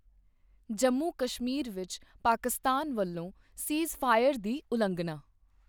ਜੰਮੂ ਕਸ਼ਮੀਰ ਵਿੱਚ ਪਾਕਿਸਤਾਨ ਵੱਲੋਂ ਸੀਜ਼ਫਾਇਰ ਦੀ ਉਲੰਘਣਾ